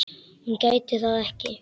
Hún gæti það ekki.